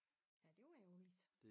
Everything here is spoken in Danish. Ja det var ærgerligt